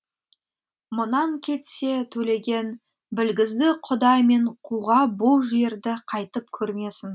мұнан кетсе төлеген білгізді құдай мен қуға бұл жерді қайтып көрмесін